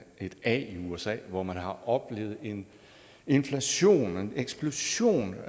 et a i usa hvor man har oplevet en inflation en eksplosion